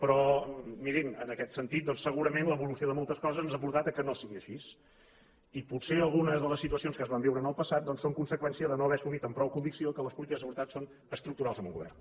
però mirin en aquest sentit doncs segurament l’evolució de moltes coses ens ha portat que no sigui així i potser alguna de les situacions que es van viure en el passat doncs són conseqüència de no haver assumit amb prou convicció que les polítiques de seguretat són estructurals en un govern